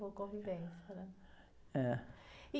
Boa convivência, né?.